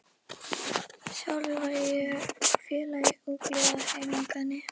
Sjálfur var ég félagi í ungliðahreyfingunni.